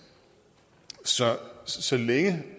så så længe